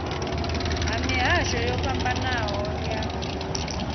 ha mihasho yo fhambanaho ya